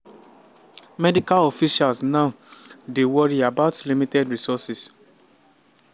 medical officials now dey wory about limited resources.